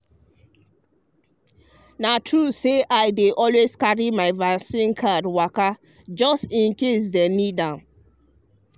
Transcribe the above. na true say i dey always carry my vaccine card waka just in case dem need am.